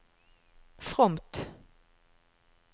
fromt